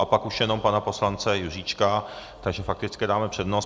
A pak už jenom pana poslance Juříčka, takže faktické dáme přednost.